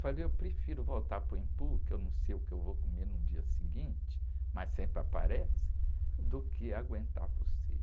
Falei, eu prefiro voltar para o Embu, que eu não sei o que eu vou comer no dia seguinte, mas sempre aparece, do que aguentar vocês.